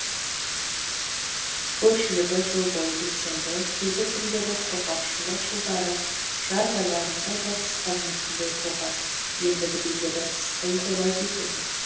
көпшілігі жыл бойы белсенді кейбір түрлері құрғақшылық жылдары жаз айларында да қысқа мерзімді ұйқыға енді біреулері қысқы ұйқыға кетеді